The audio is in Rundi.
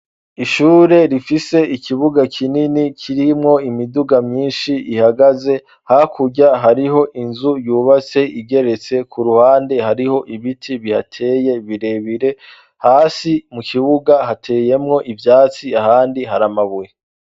ishure rifise ikibuga kinini kirimwo imiduga myinshi ihagaze hakurya hariho inzu yubaste igeretse ku ruhande hariho ibiti bihateye birebire hasi mu kibuga hateyemwo ibyatsi ahandi haramabuye.